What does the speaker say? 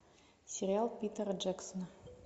сериал питера джексона